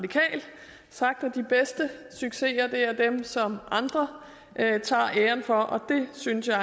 sagt at de bedste succeser er dem som andre tager æren for og det synes jeg